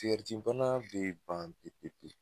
bana bɛ ban pewu pewu